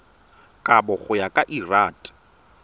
kabo go ya ka lrad